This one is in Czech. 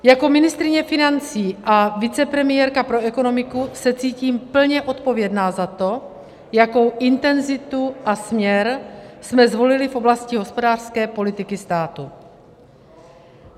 Jako ministryně financí a vicepremiérka pro ekonomiku se cítím plně odpovědná za to, jakou intenzitu a směr jsme zvolili v oblasti hospodářské politiky státu.